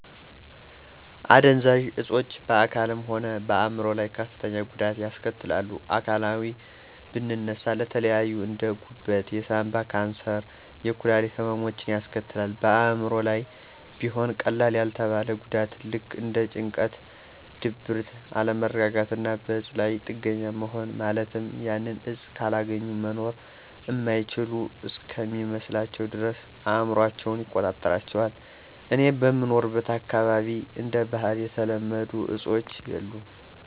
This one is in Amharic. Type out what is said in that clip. አደንዛዥ እፆች በአካልም ሆነ በአይምሮ ላይ ከፍተኛ ጉዳትን ያስከትላሉ። ከአካላዊ ብንነሳ ለተለያዩ እንደ፦ ጉበት፣ የሳንባ፣ የካንሰር፣ የኩላሊት ህመሞችን ያስከትላል። በአእምሮ ላይም ቢሆን ቀላል ያልተባለ ጉዳትን ልክ እንደ ጭንቀት፣ ድብርትን፣ አለመረጋጋትና በእፁ ላይ ጥገኛ መሆንን ማለትም ያንን እፅ ካላገኙ መኖር እማይችሉ እስከሚመስላቸው ድረስ አእምሯቸውን ይቆጣጠራቸዋል። እኔ በምኖርበት አካባቢ እንደ ባህል የተለመዱ አፆች የሉም።